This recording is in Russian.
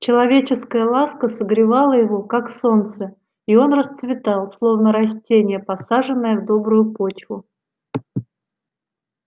человеческая ласка согревала его как солнце и он расцветал словно растение посаженное в добрую почву